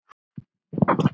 Efnið er líkt.